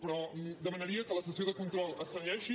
però demanaria que en la sessió de control es cenyeixi